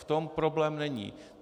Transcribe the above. V tom problém není.